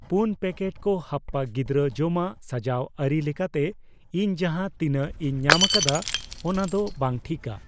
ᱯᱩᱱ ᱯᱮᱠᱮᱴ ᱠᱚ ᱦᱟᱯᱯᱟ ᱜᱤᱫᱨᱟᱹ ᱡᱚᱢᱟᱜ ᱥᱟᱡᱟᱣ ᱟᱨᱤ ᱞᱮᱠᱟᱛᱮ ᱤᱧ ᱡᱟᱦᱟ ᱛᱤᱱᱟᱜ ᱤᱧ ᱧᱟᱢ ᱟᱠᱟᱫᱟ ᱚᱱᱟᱫᱚ ᱵᱟᱝ ᱴᱷᱤᱠᱟ ᱾